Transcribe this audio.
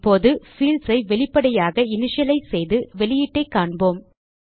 இப்போது பீல்ட்ஸ் ஐ வெளிப்படையாக இனிஷியலைஸ் செய்து வெளியீட்டைக் காண்போம்